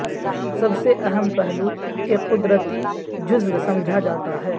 سب سے اہم پہلو ایک قدرتی جزو سمجھا جاتا ہے